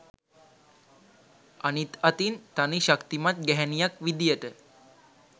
අනිත් අතින් තනි ශක්තිමත් ගැහැනියක් විදියට